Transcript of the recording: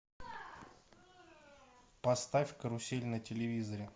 поставь карусель на телевизоре